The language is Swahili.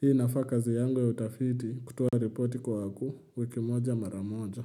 Hii inafaa kazi yangu ya utafiti kutuo repoti kwa wakuu wiki moja mara moja.